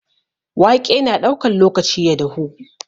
Waƙe na ɗaukan lokaci ya dahu.